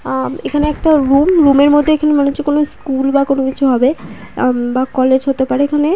আম এখানে একটা room room এর মধ্যে মনে হচ্ছে স্কুল বা কোনো কিছু হবে এম বা কলেজ হতে পারে এখানে।